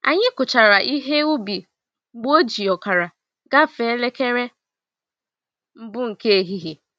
Anyi kuchara ihe ubi mgbe oji ọkara gafe elekere mbụ nke ehihie